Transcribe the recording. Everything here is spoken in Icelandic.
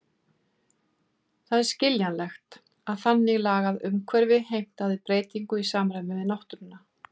Það er skiljanlegt, að þannig lagað umhverfi heimtaði breytingu í samræmi við náttúruna.